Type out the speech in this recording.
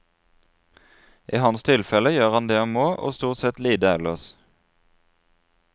I hans tilfelle gjør han det han må, og stort sett lite ellers.